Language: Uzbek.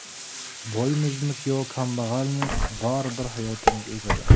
Boymizmi yo kambag‘almi, baribir hayotimiz o‘tadi.